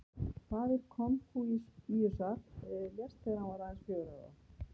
Faðir Konfúsíusar lést þegar hann var aðeins fjögurra ára.